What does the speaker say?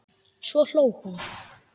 Svo hló hún.